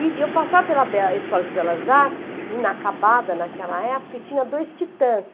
E eu passava pela Escola de Belas Artes, inacabada naquela época, e tinha dois titãs.